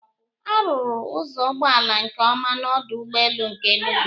A rụrụ ụzọ ụgbọala nke ọma n'ọdụ ụgbọelu nke Enugu